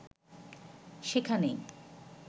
সেখানেই